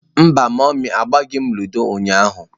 Mba mummy, agbaghị m ludo ụnyahụ.